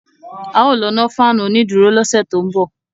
A ó lọ nọ́ fáànù onídùúró lọ́sẹ̀ tó ń bọ̀